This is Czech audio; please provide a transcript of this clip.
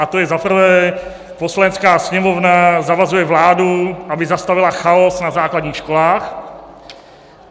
A to je - za prvé - Poslanecká sněmovna zavazuje vládu, aby zastavila chaos na základních školách.